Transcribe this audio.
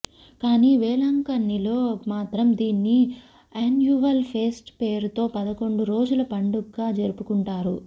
కానీ వేలాంకన్నిలో మాత్రం దీన్ని యాన్యువల్ ఫీస్ట్ పేరుతో పదకొండు రోజుల పండుగ్గా జరుపుకుంటారు